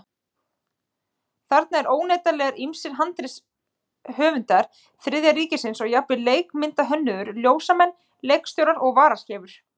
Þarna eru óneitanlega ýmsir handritshöfundar Þriðja ríkisins og jafnvel leikmyndahönnuðir, ljósamenn, leikstjórar og varaskeifur.